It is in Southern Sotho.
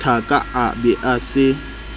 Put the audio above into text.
thaka a be a se